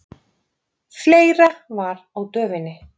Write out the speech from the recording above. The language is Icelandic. Fleira var á döfinni.